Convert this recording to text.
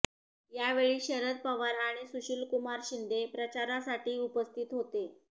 यावेळी शरद पवार आणि सुशीलकुमार शिंदे प्रचारासाठी उपस्थित होते